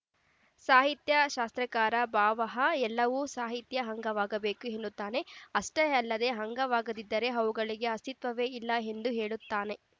ಸಾಹಿತ್ಯ ಶಾಸ್ತ್ರಕಾರ ಭಾಮಹ ಎಲ್ಲವೂ ಸಾಹಿತ್ಯದ ಅಂಗವಾಗಬೇಕು ಎನ್ನುತ್ತಾನೆ ಅಷ್ಟೇ ಅಲ್ಲದೆ ಅಂಗವಾಗದಿದ್ದರೆ ಅವುಗಳಿಗೆ ಅಸ್ತಿತ್ವವೇ ಇಲ್ಲ ಎಂದೂ ಹೇಳುತ್ತಾನೆ